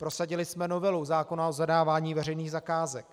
Prosadili jsme novelu zákona o zadávání veřejných zakázek.